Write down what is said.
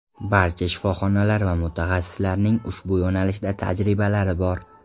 Barcha shifoxonalar va mutaxassislarning ushbu yo‘nalishda tajribalari bor.